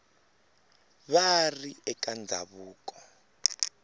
va va ri eka ndhawu